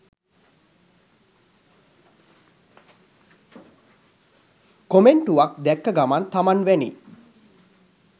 කොමෙන්ටුවක් දැක්ක ගමන් තමන් වැනි